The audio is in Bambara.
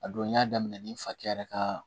A don n y'a daminɛ ni fakɛ yɛrɛ ka